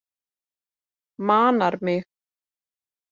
Manar mig.